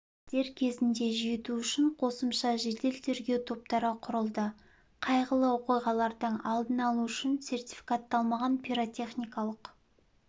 дер кезінде жету үшін қосымша жедел-тергеу топтары құрылды қайғылы оқиғалардың алдын алу үшін сертификатталмаған пиротехникалық